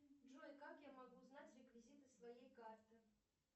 джой как я могу узнать реквизиты своей карты